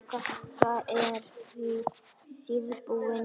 Þetta er því síðbúin kveðja.